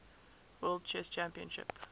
world chess championship